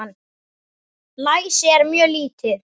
Læsi er mjög lítið.